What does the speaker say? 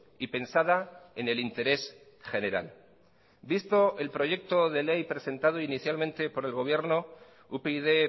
y pensada en el interés general visto el proyecto de ley presentado inicialmente por el gobierno upyd